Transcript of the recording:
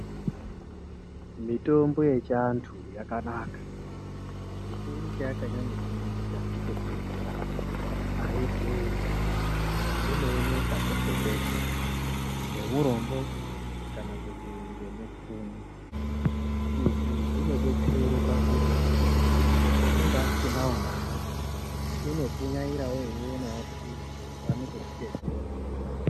Mitombo yechiantu yakanaka chikuru chakanyanya kunakira ndechekuti aidhuri inooneka peshe peshe ngeurombo kana kuti neupfumi izvi zvinodetsera pakuti unonga asinawo mare unopunyaira Eionawo kuti awane kuzhidetsera.